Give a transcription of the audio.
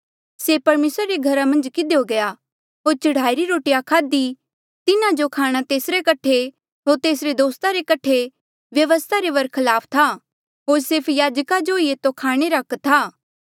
से परमेसरा रे घरा मन्झ किधियो गया होर चढ़ाईरी रोटिया खाध्ही तिन्हा जो खाणा तेसरे कठे होर तेसरे दोस्ता रे कठे व्यवस्था रे बरखलाफ था होर सिर्फ याजका जो ही एतो खाणे रा हक था